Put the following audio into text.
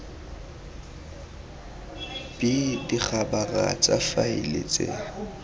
b dikhabara tsa faele tse